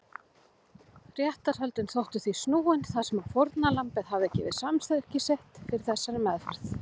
Réttarhöldin þóttu því snúin þar sem fórnarlambið hafði gefið samþykki sitt fyrir þessari meðferð.